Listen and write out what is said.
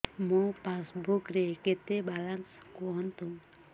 ମୋ ପାସବୁକ୍ ରେ କେତେ ବାଲାନ୍ସ କୁହନ୍ତୁ